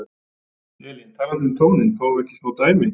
Elín: Talandi um tóninn, fáum við ekki smá dæmi?